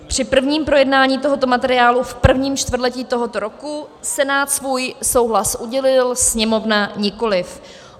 Při prvním projednání tohoto materiálu v prvním čtvrtletí tohoto roku Senát svůj souhlas udělil, Sněmovna nikoliv.